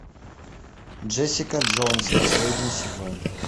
джессика джонс последний сезон